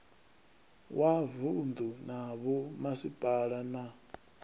wa mavunu na vhomasipala na